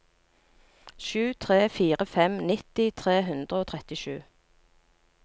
sju tre fire fem nitti tre hundre og trettisju